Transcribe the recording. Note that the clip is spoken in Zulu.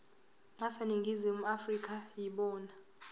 aseningizimu afrika yibona